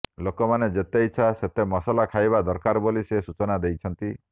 ଲୋକମାନେ ଯେତେ ଇଚ୍ଛା ସେତେ ମସଲା ଖାଇବା ଦରକାର ବୋଲି ସେ ସୂଚନା ଦେଇଛନ୍ତି